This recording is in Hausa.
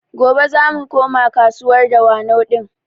Gobe zamu koma kasuwar Dawanau ɗin